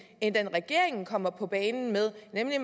end den regeringen kommer på banen med nemlig at